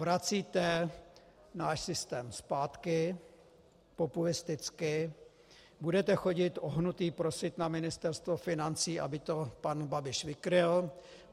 Vracíte náš systém zpátky populisticky, budete chodit ohnutí prosit na Ministerstvo financí, aby to pan Babiš vykryl.